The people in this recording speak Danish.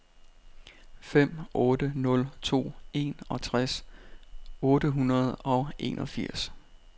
fem otte nul to enogtres otte hundrede og enogfirs